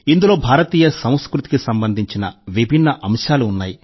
ఇందులో భారతీయ సంస్కృతికి సంబంధించిన విభిన్న అంశాలు ఉన్నాయి